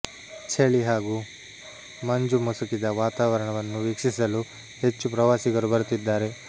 ಚಳಿ ಹಾಗೂ ಮಂಜುಮುಸುಕಿದ ವಾತಾವರಣ ವನ್ನು ವೀಕ್ಷಿಸಲು ಹೆಚ್ಚು ಪ್ರವಾಸಿಗರು ಬರುತ್ತಿದ್ದಾರೆ